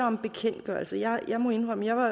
om bekendtgørelser jeg må indrømme at